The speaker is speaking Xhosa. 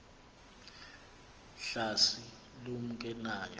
hlasi lumke nayo